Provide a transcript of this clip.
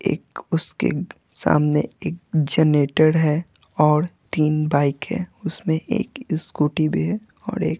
एक उसके सामने एक जनेटर है और तीन बाइक है उसमें एक स्कूटी भी है और एक --